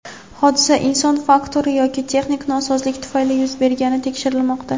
Hodisa inson faktori yoki texnik nosozlik tufayli yuz bergani tekshirilmoqda.